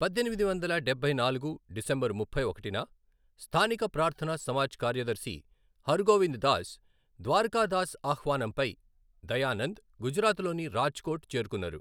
పద్దెనిమిది వందల డబ్బై నాలుగు డిసెంబర్ ముప్పై ఒకటిన, స్థానిక ప్రార్థన సమాజ్ కార్యదర్శి హరగోవింద్ దాస్ ద్వారకాదాస్ ఆహ్వానంపై దయానంద్ గుజరాత్లోని రాజ్కోట్ చేరుకున్నారు.